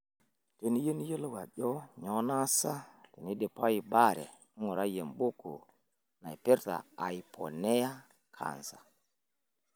Teniyieu niyiolo ajo nyoo naasa teneidipayu baare, ngurai embuku naipirta aiponea kansa.